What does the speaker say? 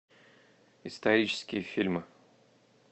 исторические фильмы